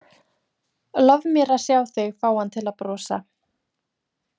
Lof mér að sjá þig fá hann til að brosa.